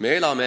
Me elame